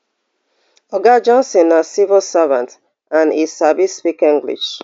oga johnson na civil servant and e sabi speak english